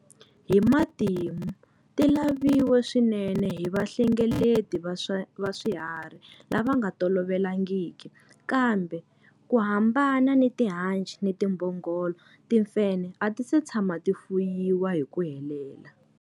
Hi matimu, ti laviwe swinene hi vahlengeleti va swiharhi lava nga tolovelekangiki, kambe ku hambana ni tihanci ni timbhongolo, timfenhe a ti si tshama ti fuyiwa hi ku helela.